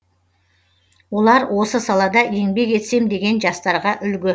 олар осы салада еңбек етсем деген жастарға үлгі